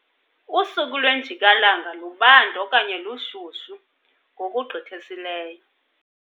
Usuku lwenjikalanga lubanda okanye lushushu ngokugqithisileyo.